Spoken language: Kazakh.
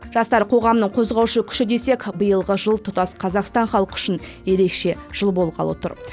жастар қоғамның қозғаушы күші десек биылғы жыл тұтас қазақстан халқы үшін ерекше жыл болғалы тұр